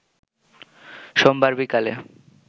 সোমবার বিকালে